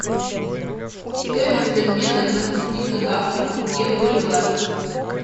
стоимость обмена двадцати казахских тенге в боливар